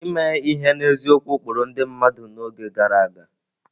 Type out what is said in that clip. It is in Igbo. Ime ihe n'eziokwu kpụrụ ndị mmadụ n'oge gara aga.